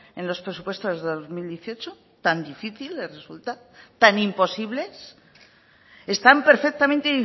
en los presupuestos de dos mil dieciocho tan difícil les resulta tan imposibles están perfectamente